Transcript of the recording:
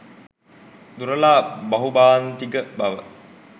දුරලා බහුභාණ්ඩික බව